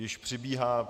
Již přibíhá.